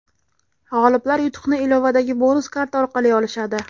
G‘oliblar yutuqni ilovadagi bonus karta orqali olishadi.